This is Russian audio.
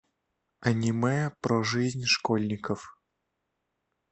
аниме про жизнь школьников